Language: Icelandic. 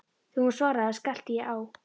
Þegar hún svaraði, skellti ég á.